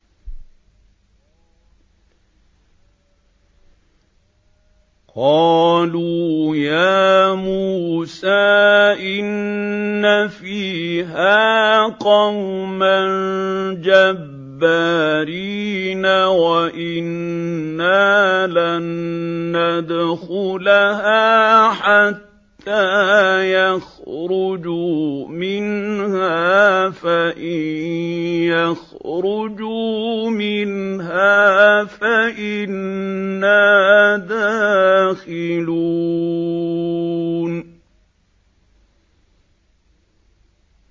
قَالُوا يَا مُوسَىٰ إِنَّ فِيهَا قَوْمًا جَبَّارِينَ وَإِنَّا لَن نَّدْخُلَهَا حَتَّىٰ يَخْرُجُوا مِنْهَا فَإِن يَخْرُجُوا مِنْهَا فَإِنَّا دَاخِلُونَ